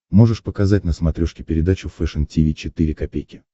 можешь показать на смотрешке передачу фэшн ти ви четыре ка